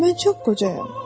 Mən çox qocayam.